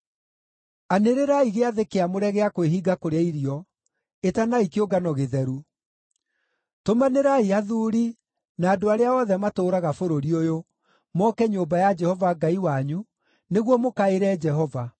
Anĩrĩrai gĩathĩ kĩamũre gĩa kwĩhinga kũrĩa irio; ĩtanai kĩũngano gĩtheru. Tũmanĩrai athuuri na andũ arĩa othe matũũraga bũrũri ũyũ moke nyũmba ya Jehova Ngai wanyu, nĩguo mũkaĩre Jehova.